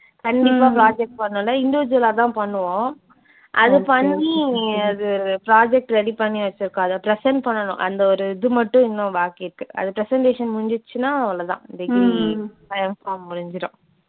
கண்டிப்பா project பண்ணனும். individual ஆ தான் பண்ணுவோம். அது பண்ணி அது project ready பண்ணி வச்சுருக்கோம். அதை present பண்ணனும். அந்த ஒரு இது மட்டும் இன்னும் பாக்கி இருக்கு. அந்த presentation முடிஞ்சிடுச்சுன்னா அவ்ளோதான் degree அஹ் Mpharm முடிஞ்சிடும்.